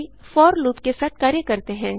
आगे for loop के साथ कार्य करते हैं